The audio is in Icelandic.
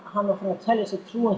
hann var búinn að telja sér trú um